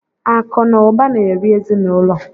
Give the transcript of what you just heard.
Akụ na ụba na-eri ezinụlọ.